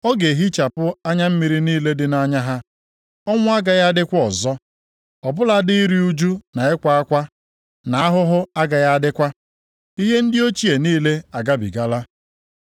Ọ ga-ehichapụ anya mmiri niile dị nʼanya ha. Ọnwụ agaghị adịkwa ọzọ. + 21:4 \+xt Aịz 25:8\+xt* Ọ bụladị iru ụjụ na ịkwa akwa na ahụhụ agaghị adịkwa. Ihe ndị ochie niile agabigala.”